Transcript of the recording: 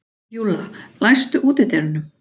Júlla, læstu útidyrunum.